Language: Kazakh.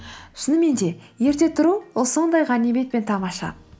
шынымен де ерте тұру ол сондай ғанибет пен тамаша